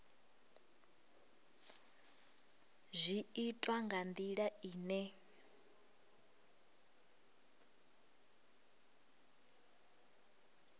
zwi itwa nga ndila ine